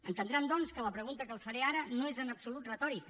entendran doncs que la pregunta que els faré ara no és en absolut retòrica